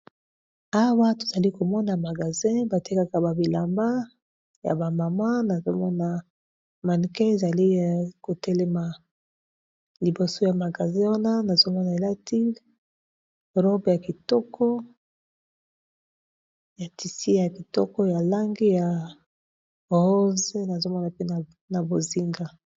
Awa tozali komona magasin batekaka babilamba ya ba mama, nazomona manecin ezali ya kotelema liboso ya magasin wana, nazomona elati robe ya kitoko ya tisi ya kitoko ya langi ya rose, nazomona pe na bozinga.